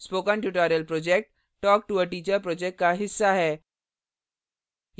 spoken tutorial project talktoateacher project का हिस्सा है